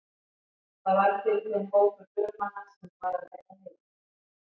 Þar varð fyrir þeim hópur förumanna sem var að leggja á heiðina.